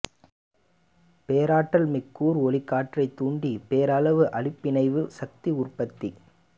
பேராற்றல் மிக்க கூர் ஒளிக்கற்றை தூண்டி பேரளவு அணுப்பிணைவு சக்தி உற்பத்தி